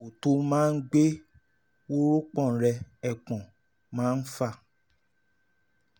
àpò tó máa ń gbé wórópọ̀n rẹ (ẹpọ̀n) máa ń fà